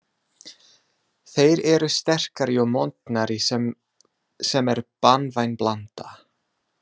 Þeir eru sterkari og montnari sem er banvæn blanda.